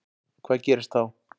Hvað gerist þá?